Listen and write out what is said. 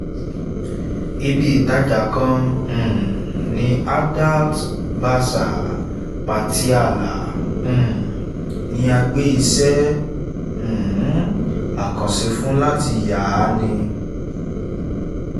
iv) ibìtajà kan um ní adalt bazar patiala um ni a gbé iṣẹ́ um àkànṣe fún láti yàa ní